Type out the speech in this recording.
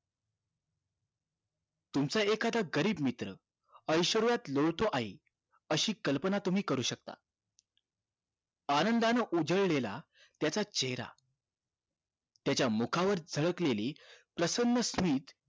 तुमचा एखादा गरीब मित्र ऐश्वर्यात लोळतो आहे अशी कल्पना तुम्ही करू शकता आनंदानं उजळलेला त्याचा चेहरा त्याच्या मुखावर झलकलेली प्रसन्न स्मिथ